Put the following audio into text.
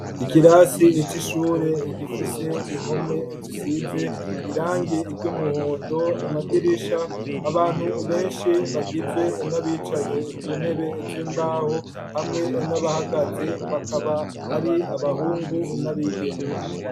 Ikirasi ico ishure gifise impome zisize irangie iryoumuhondo amadirisha abantu benshi bagizwe n'abicaye ku ntebe z'imbaho hamwe nabahagaze bakaba ari abahungu n'abigeme.